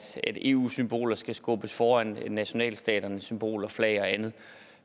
eu symboler skal skubbes foran nationalstaternes symboler flag og andet